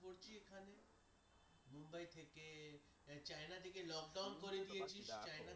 এখানে মুম্বাই থেকে চায়না থেকে lockdown করে দিয়েছিস